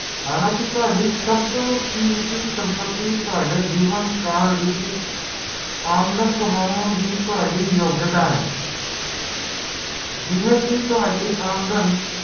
ਇਹ ਅਜੇਹੀ ਘਟਨਾ ਕਿ ਜਿਹੜੀ ਕਦੇ ਵੀ ਵਾਪਰ ਸਕਦੇ